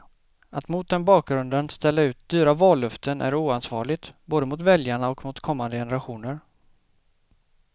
Att mot den bakgrunden ställa ut dyra vallöften är oansvarigt, både mot väljarna och mot kommande generationer.